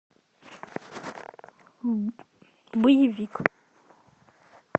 боевик